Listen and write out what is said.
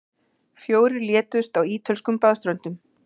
Fjórir létust á ítölskum baðströndum